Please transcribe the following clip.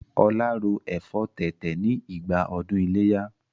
Ọlá ro ẹ̀fọ́ tètè ni ìgbà ọdún ileya